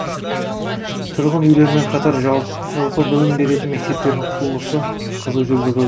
тұрғын үйлермен қатар жалпы білім беретін мектептердің құрылысы қызу жүргізілді